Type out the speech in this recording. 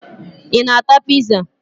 Ị na-ata piza?